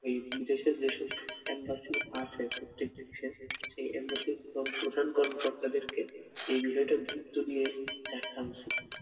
এই বিদেশে যেসব embassy আছে প্রত্যেক দেশে সে embassy র প্রধান কর্মকর্তাদেরকে এ বিষয়টা গুরুত্ব দিয়ে দেখা উচিৎ বলে